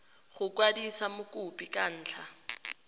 go kwadisa mokopi ka ntlha